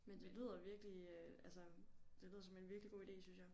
Men det lyder virkelig øh altså det lyder som en virkelig god ide synes jeg